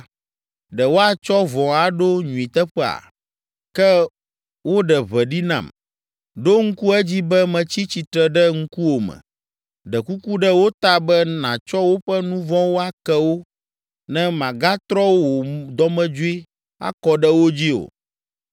Ɖe woatsɔ vɔ̃ aɖo nyui teƒea? Ke woɖe ʋe ɖi nam. Ɖo ŋku edzi be metsi tsitre ɖe ŋkuwòme ɖe kuku ɖe wo ta be nàtsɔ woƒe nu vɔ̃wo ake wo ne màgatrɔ wò dɔmedzoe akɔ ɖe wo dzi o.